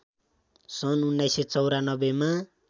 सन् १९९४ मा